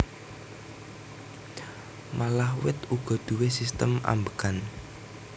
Malah wit uga duwé sistem ambegan